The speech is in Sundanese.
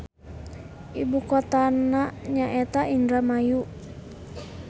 Ibukotana nyaeta Indramayu.